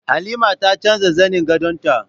Halima ta canza zanin gadon ta